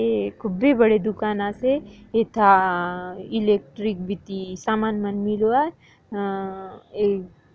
ये खूब्बी बड़ी दुकान आसे एथा इलेक्ट्रिक बीती समान मन मीलवा अ आ अ --